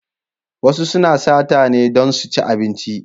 Wasu suna sata ne don su ci abinci.